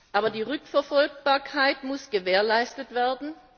Aber die Rückverfolgbarkeit muss gewährleistet werden.